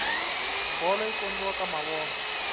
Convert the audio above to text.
bolo yi kombiwa ka mavona